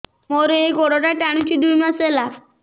ମୋର ଏଇ ଗୋଡ଼ଟା ଟାଣୁଛି ଦୁଇ ମାସ ହେଲା